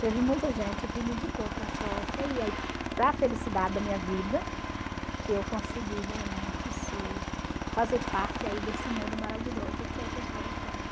Teve muita gente que me indicou para e aí, para felicidade da minha vida, eu consegui realmente ser, fazer parte aí desse mundo maravilhoso que é o pessoal da